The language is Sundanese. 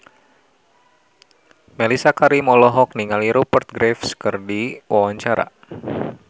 Mellisa Karim olohok ningali Rupert Graves keur diwawancara